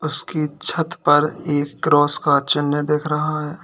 उसके छत पर एक क्रॉस का चिन्ह देख रहा है।